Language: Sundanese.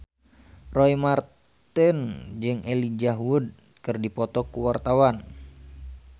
Roy Marten jeung Elijah Wood keur dipoto ku wartawan